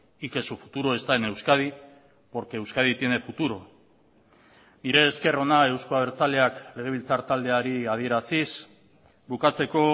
y que su futuro está en euskadi porque euskadi tiene futuro nire esker ona eusko abertzaleak legebiltzar taldeari adieraziz bukatzeko